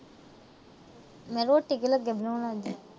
ਮੈਂ ਕਿਹਾ ਰੋਟੀ ਕੀ ਲੱਗੇੇ ਬਣਾਉਣ ਅੱਜ।